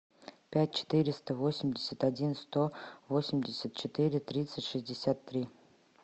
пять четыреста восемьдесят один сто восемьдесят четыре тридцать шестьдесят три